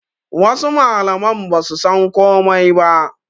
Wasu mallaman basu san komai ba